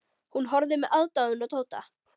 Hún horfði með aðdáun á Tóta.